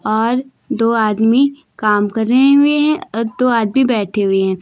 और दो आदमी काम करे हुए है अ दो आदमी बैठे हुए है।